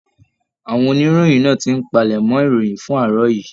Àwọn oníròyìn náà tí n palẹmọ̀ ìròyìn fún àárọ̀ yìí.